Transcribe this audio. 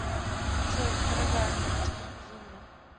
джой дорогая люблю тебя безумно